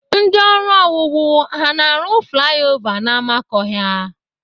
Ndị ọrụ owuwu ha na-arụ flaya ova n'amakọhịa?